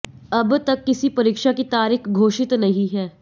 अब तक किसी परीक्षा की तारीख घोषित नहीं है